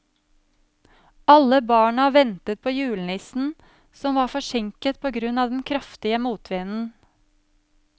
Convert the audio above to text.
Alle barna ventet på julenissen, som var forsinket på grunn av den kraftige motvinden.